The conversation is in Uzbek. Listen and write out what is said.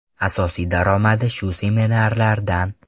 Asosiy daromadi shu seminarlardan.